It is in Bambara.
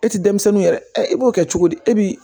E ti denmisɛnninw yɛrɛ i b'o kɛ cogo di e bi